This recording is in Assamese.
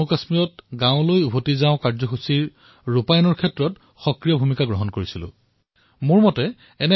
মই এই কথা কবলৈ পাই সুখী অনুভৱ কৰিছো যে মই নিজৰ ৰাজ্য জম্মুকাশ্মীৰত কমিউনিটি মবিলাইজেশ্যন প্ৰগ্ৰামে বেক ত Villageৰ আয়োজনত সক্ৰিয় ভূমিকা পালন কৰিছো